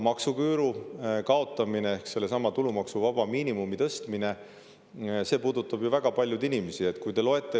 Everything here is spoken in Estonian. Maksuküüru kaotamine ehk tulumaksuvaba miinimumi tõstmine puudutab väga paljusid inimesi.